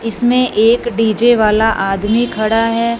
इसमें एक डी_जे वाला आदमी खड़ा है।